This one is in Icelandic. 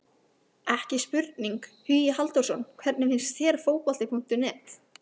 Ekki spurning, Hugi Halldórsson Hvernig finnst þér Fótbolti.net?